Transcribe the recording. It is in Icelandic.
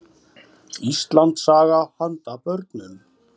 Íslandssaga handa börnum.